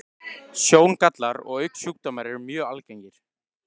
Sjóngallar og augnsjúkdómar eru mjög algengir.